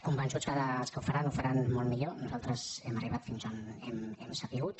convençuts que els que ho faran ho faran molt millor nosaltres hem arribat fins on hem sabut